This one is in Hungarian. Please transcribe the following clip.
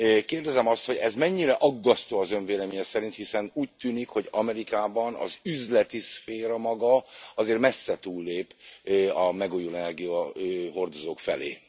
Kérdezem azt, hogy ez mennyire aggasztó az Ön véleménye szerint, hiszen úgy tűnik, hogy Amerikában az üzleti szféra maga azért messze túllép a megújuló energiahordozók felé?